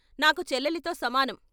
నాకు చెల్లెలితో సమానం.